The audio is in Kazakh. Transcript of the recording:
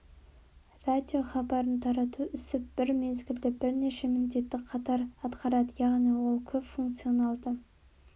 радиохабарын тарату ісі бір мезгілде бірнеше міндетті қатар атқарады яғни ол көп функциональды